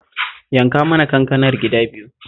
Yanka mana kankanar gida biyu